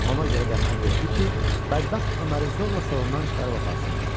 Ona görə də əmr etdi ki, bədbəxt Öməri zorla salondan çıxarıb aparsınlar.